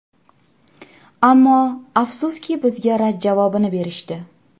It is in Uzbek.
Ammo, afsuski, bizga rad javobi berishdi.